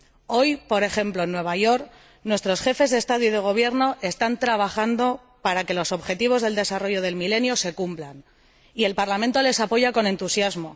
Hoy, por ejemplo, en Nueva York, nuestros Jefes de Estado y de Gobierno están trabajando para que los Objetivos de Desarrollo del Milenio se cumplan, y el Parlamento les apoya con entusiasmo.